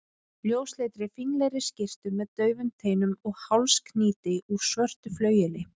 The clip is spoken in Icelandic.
ljósleitri, fínlegri skyrtu með daufum teinum og hálsknýti úr svörtu flaueli.